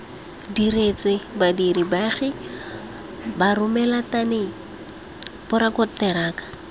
diretswe badiri baagi baromelateng borakonteraka